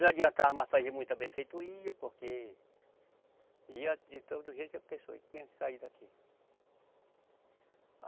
Não adiantava mais fazer muita benfeitoria, porque ia de todo jeito a pessoa tinha que sair daqui.